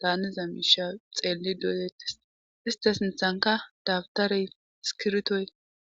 daaniza miisha xeelli doolettes ista sinthanka dabtarey iskirtoy.